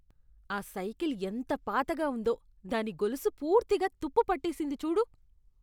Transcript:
ఆ సైకిల్ ఎంత పాతగా ఉందో, దాని గొలుసు పూర్తిగా తుప్పు పట్టేసింది చూడు.